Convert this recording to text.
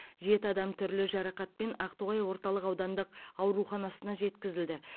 жеті адам түрлі жарақатпен ақтоғай орталық аудандық ауруханасына жеткізілді